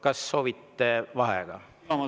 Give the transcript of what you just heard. Kas soovite vaheaega?